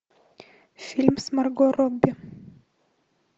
фильм с марго робби